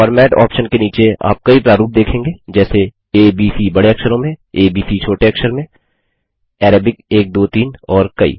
format option के नीचे आप कई प्रारूप देखेंगे जैसे आ ब सी बडे अक्षरों में आ ब सी छोटे अक्षर मेंArabic 1 2 3 और कई